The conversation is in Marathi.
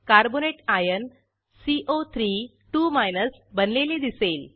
कार्बोनेट आयन सीओ32 बनलेले दिसेल